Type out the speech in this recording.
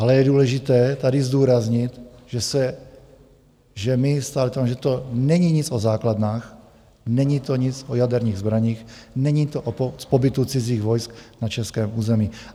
Ale je důležité tady zdůraznit, že se - že to není nic o základnách, není to nic o jaderných zbraních, není to o pobytu cizích vojsk na českém území.